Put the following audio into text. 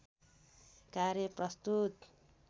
कार्य प्रस्तुत